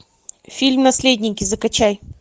фильм наследники закачай